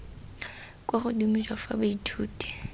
kwa godimo jwa fa baithuti